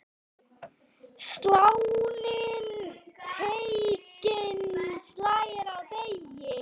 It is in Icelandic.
Sláninn teiginn slær á degi.